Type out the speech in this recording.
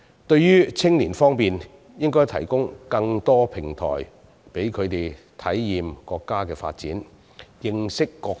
在青年方面，我們應提供更多平台，讓他們體驗國家的發展，認識國情。